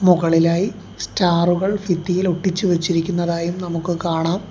മുകളിലായി സ്റ്റാറുകൾ ഭിത്തിയിൽ ഒട്ടിച്ചു വെച്ചിരിക്കുന്നതായും നമുക്ക് കാണാം.